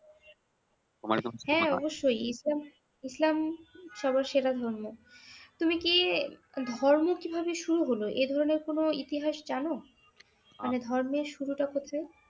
হ্যাঁ অবশ্যই ইসলাম ইসলাম সবার সেরা ধর্ম তুমি কি ধর্ম কিভাবে শুরু হলো এইধরনের কোন ইতিহাস জানো মানে ধর্মের শুরুটা কোথায়